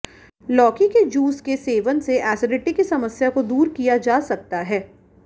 लौकी के जूस के सेवन से एसिडिटी की समस्या को दूर किया जा सकता है